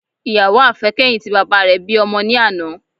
Ìyàwó àfẹ́kẹ́yìn ti bàbá rẹ bí ọmọ ní àná